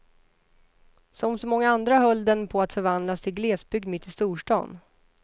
Som så många andra höll den på att förvandlas till glesbygd mitt i storstan.